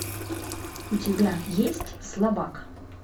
у тебя есть слабак